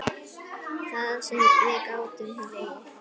Það sem við gátum hlegið.